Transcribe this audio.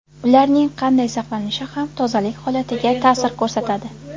Ularning qanday saqlanishi ham tozalik holatiga ta’sir ko‘rsatadi.